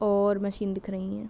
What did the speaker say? और मशीन दिख रही है।